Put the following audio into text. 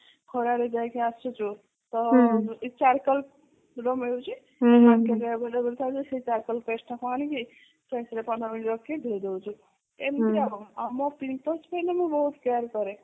ଖରା ରେ ଯାଇକି ଆସୁଛୁ ତ charcoal ର ମିଳୁଛି ସେଇ charcoal paste ଟା କୁ ଆଣିକି face ରେ ପନ୍ଦର minute ରଖିକି ଧୋଇ ଦେଉଚୁ ଏମିତି ଆଉ ଆଉ ମୋ pimples ପାଇଁ ମୁଁ ବହୁତ care କରେ